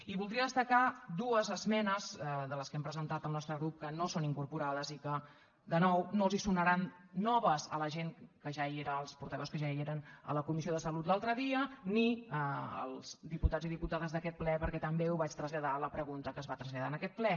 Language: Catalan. i voldria destacar dues esmenes de les que hem pre·sentat el nostre grup que no hi són incorporades i que de nou no els sonaran noves a la gent que ja era als portaveus que ja eren a la comissió de salut l’altre dia ni als diputats i diputades d’aquest ple perquè també ho vaig traslladar a la pregunta que es va traslladar en aquest ple